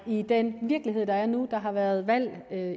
i den virkelighed der er nu der har været valg